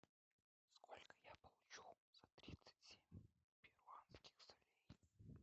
сколько я получу за тридцать семь перуанских солей